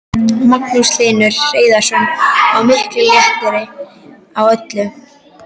Magnús Hlynur Hreiðarsson: Og mikill léttir á öllum?